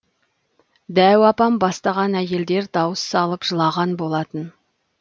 дәу апам бастаған әйелдер дауыс салып жылаған болатын